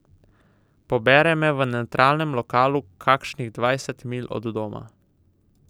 Pobere me v nevtralnem lokalu kakšnih dvajset milj od doma.